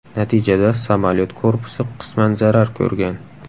Natijada samolyot korpusi qisman zarar ko‘rgan.